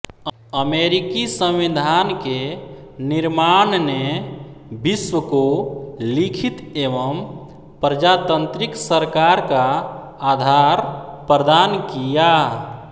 अमेरिकी संविधान के निर्माण ने विश्व को लिखित एवं प्रजातंत्रिक सरकार का आधार प्रदान किया